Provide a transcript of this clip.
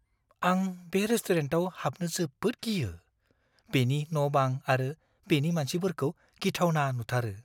आं बे रेस्टुरेन्टाव हाबनो जोबोद गियो। बेनि न-बां आरो बेनि मानसिफोरखौ गिथावना नुथारो।